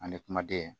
Ani kumaden